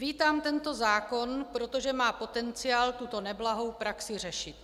Vítám tento zákon, protože má potenciál tuto neblahou praxi řešit.